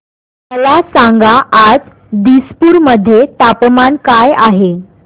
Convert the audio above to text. मला सांगा आज दिसपूर मध्ये तापमान काय आहे